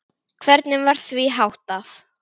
Hvernig var því háttað?